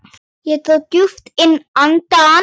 Ég dró djúpt inn andann.